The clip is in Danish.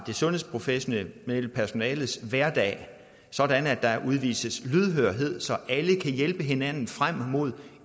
det sundhedsprofessionelle personales hverdag sådan at der udvises lydhørhed så alle kan hjælpe hinanden frem mod